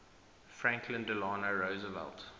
franklin delano roosevelt